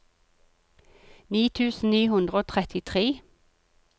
ni tusen ni hundre og trettitre